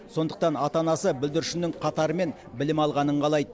сондықтан ата анасы бүлдіршіннің қатарымен білім алғанын қалайды